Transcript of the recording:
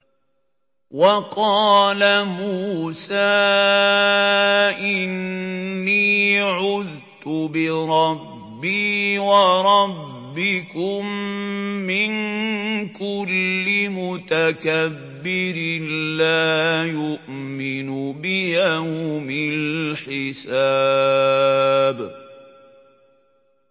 وَقَالَ مُوسَىٰ إِنِّي عُذْتُ بِرَبِّي وَرَبِّكُم مِّن كُلِّ مُتَكَبِّرٍ لَّا يُؤْمِنُ بِيَوْمِ الْحِسَابِ